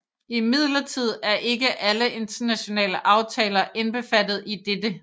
Imidlertid er ikke alle internationale aftaler indbefattet i dette